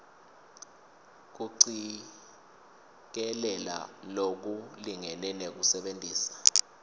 kucikelela lokulingene nekusebentisa